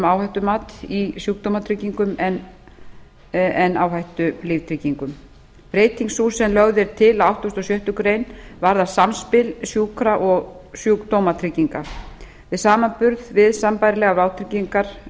áhættumat í sjúkdómatryggingum en áhættulíftryggingum breyting sú sem lögð er til á áttugasta og sjöttu grein varðar samspil sjúkra og sjúkdómatrygginga við samanburð við sambærilegar vátryggingar